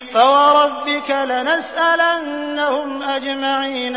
فَوَرَبِّكَ لَنَسْأَلَنَّهُمْ أَجْمَعِينَ